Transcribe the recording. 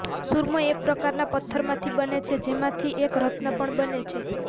સુરમો એક પ્રકારના પથ્થરમાંથી બને છે જેમાંથી એક રત્ન પણ બને છે